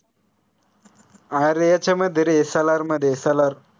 अरे याच्यामध्ये रे सालार मध्ये सालार